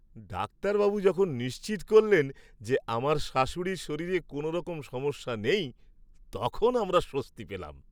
ডাক্তারবাবু যখন নিশ্চিত করলেন যে আমার শাশুড়ির শরীরে কোনোরকম সমস্যা নেই, তখন আমরা স্বস্তি পেলাম।